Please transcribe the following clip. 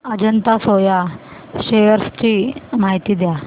Ajanta soya shares ची माहिती द्या